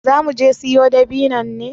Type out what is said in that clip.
Za muje siyo dabinnon ne?